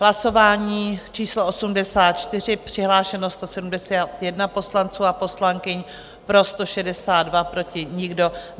Hlasování číslo 84, přihlášeno 171 poslanců a poslankyň, pro 162, proti nikdo.